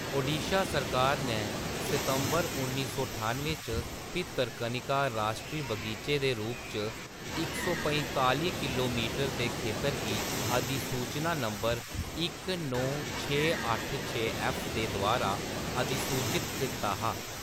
ओडिशा सरकार नै सितंबर उन्नी सौ ठानुएं च भितरकनिका राश्टरी बगीचे दे रूप च इक सौ पंताली किल्लोमीटर दे खेतर गी अधिसूचना नंबर इक नौ छे अट्ठ छे ऐफ्फ दे द्वारा अधिसूचित कीता हा।